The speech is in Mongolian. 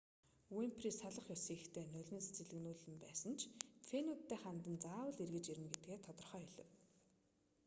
уйнфри салах ёс хийхдээ нулимс цийлэгнүүлэн байсан ч фенүүддээ хандан заавал эргэж ирнэ гэдгээ тодорхой хэлэв